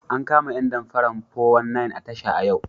An kama ƴan damparan 419 a tasha yau.